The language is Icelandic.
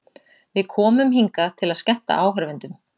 Við komum hingað til að skemmta áhorfendum.